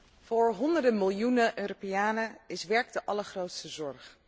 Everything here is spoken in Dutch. Voor honderden miljoenen Europeanen is werk de allergrootste zorg.